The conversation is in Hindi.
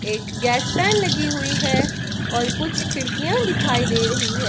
एक गैस फैन लगी हुई है और कुछ खिड़कियां दिखाई दे रही है।